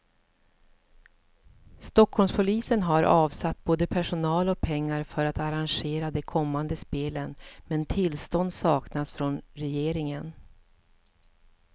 Stockholmspolisen har avsatt både personal och pengar för att arrangera de kommande spelen, men tillstånd saknas från regeringen.